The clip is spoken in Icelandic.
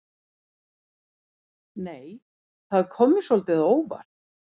Nei! Það kom mér svolítið á óvart!